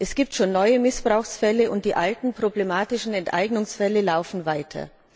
Es gibt schon neue Missbrauchsfälle, und die alten, problematischen Enteignungsfälle laufen weiter.